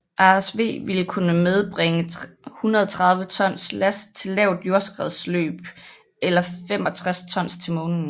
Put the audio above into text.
Ares V ville kunne medbringe 130 tons last til lavt jordkredsløb eller 65 tons til Månen